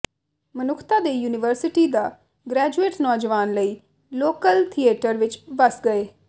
ਮਨੁੱਖਤਾ ਦੇ ਯੂਨੀਵਰਸਿਟੀ ਦਾ ਗਰੈਜੂਏਟ ਨੌਜਵਾਨ ਲਈ ਲੋਕਲ ਥਿਏਟਰ ਵਿਚ ਵੱਸ ਗਏ